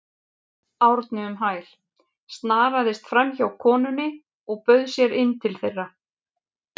Árni um hæl, snaraðist framhjá konunni og bauð sér inn til þeirra.